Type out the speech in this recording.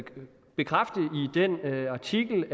den artikel